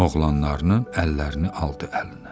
Oğlanlarının əllərini aldı əlinə.